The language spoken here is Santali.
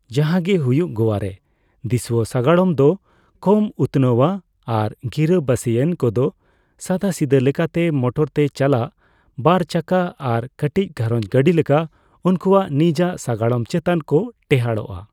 ᱡᱟᱦᱟᱸ ᱜᱮ ᱦᱩᱭᱩᱜ, ᱜᱳᱣᱟᱨᱮ ᱫᱤᱥᱩᱣᱟᱹ ᱥᱟᱜᱟᱲᱚᱢ ᱫᱚ ᱠᱚᱢ ᱩᱛᱱᱟᱹᱣᱟ, ᱟᱨ ᱜᱤᱨᱟᱹᱵᱟᱹᱥᱤᱭᱟᱱ ᱠᱚᱫᱚ ᱥᱟᱫᱟᱥᱤᱫᱟᱹ ᱞᱮᱠᱟᱛᱮ ᱢᱚᱴᱚᱨ ᱛᱮ ᱪᱟᱞᱟᱜ ᱵᱟᱨᱼᱪᱟᱠᱟ ᱟᱨ ᱠᱟᱹᱴᱤᱡ ᱜᱷᱟᱨᱚᱸᱡᱽ ᱜᱟᱹᱰᱤ ᱞᱮᱠᱟ ᱩᱱᱠᱩᱣᱟᱜ ᱱᱤᱡᱟᱜ ᱥᱟᱜᱟᱲᱚᱢ ᱪᱮᱛᱟᱱ ᱠᱚ ᱴᱮᱸᱦᱟᱰᱚᱜᱼᱟ ᱾